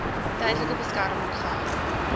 tydelike beskerming gehou